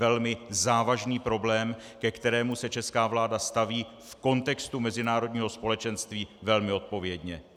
Velmi závažný problém, ke kterému se česká vláda staví v kontextu mezinárodního společenství velmi odpovědně.